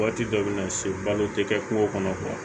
Waati dɔ bɛ na se balo tɛ kɛ kungo kɔnɔ